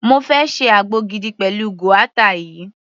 Mo fẹ́ ṣe àgbo gidi pẹ̀lú guata yìí.